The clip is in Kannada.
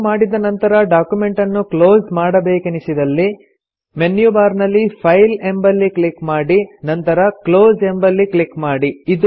ಸೇವ್ ಮಾಡಿದ ನಂತರ ಡಾಕ್ಯುಮೆಂಟನ್ನು ಕ್ಲೊಸ್ ಮಾಡಬೇಕೆನಿಸಿದಲ್ಲಿ ಮೆನ್ಯು ಬಾರ್ ನಲ್ಲಿ ಫೈಲ್ ಎಂಬಲ್ಲಿ ಕ್ಲಿಕ್ ಮಾಡಿ ನಂತರ ಕ್ಲೋಸ್ ಎಂಬಲ್ಲಿ ಕ್ಲಿಕ್ ಮಾಡಿ